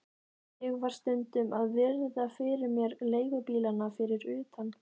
Ég var stundum að virða fyrir mér leigubílana fyrir utan